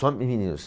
Só de meninos.